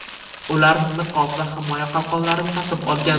Ular niqob va himoya qalqonlarini taqib olgan.